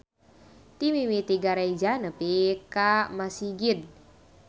Ti mimiti gareja nepi ka masigit.